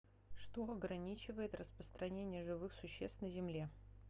что ограничивает распространение живых существ на земле